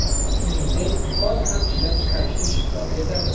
Shuningdek, qon ham ishlab chiqarishda ishtirok etadi.